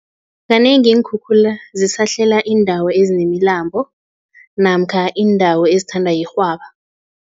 Kanengi iinkhukhula zisahlela iindawo ezinemilambo namkha iindawo ezithandwa yirhwaba.